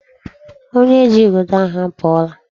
Onye ji igodo ahụ apụọla.